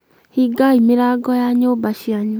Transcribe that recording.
hingai mĩrango ya nyũmba cianyu